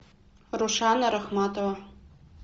рушана рахматова